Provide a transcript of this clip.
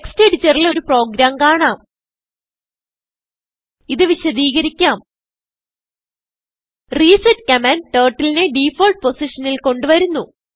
text editor ൽ ഒരു program കാണാം ഇത് വിശദീകരിക്കാം റിസെറ്റ് കമാൻഡ് Turtleനെ ഡിഫോൾട്ട് പൊസിഷനിൽ കൊണ്ട് വരുന്നു